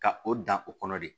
Ka o dan o kɔnɔ de